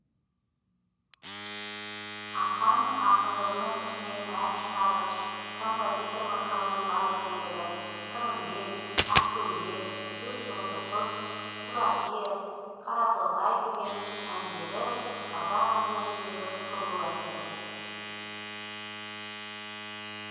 ақаң ақындығының үстіне ән шығарғыш композиторлық қырының бар екендігі сырымбет ақкөйлек үш тоты құс құла кер қара торғай деген әндері қазақ әндеріндегі сұлу әндер